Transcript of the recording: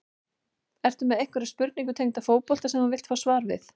Ertu með einhverja spurningu tengda fótbolta sem þú vilt fá svar við?